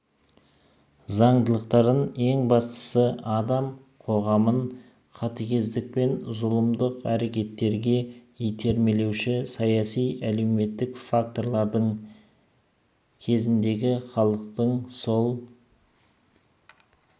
заңдылықтарын ең бастысы адам қоғамын қатігездік пен зұлымдық әрекеттерге итермелеуші саяси-әлеуметтік фактордың кезіндегі халықтың сол